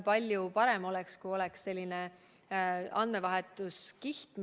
Palju parem oleks, kui oleks selline andmevahetuskiht.